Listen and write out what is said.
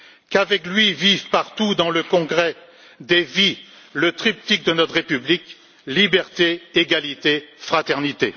Qu'avec lui vive partout, dans le congrès des vies, le triptyque de notre République liberté, égalité, fraternité.